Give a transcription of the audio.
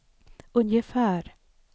ungefär